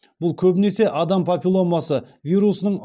бұл көбінесе адам папилломасы вирусының